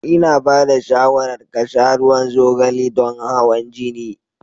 Ina ba da shawarar ka sha ruwan zogale don hawan jini.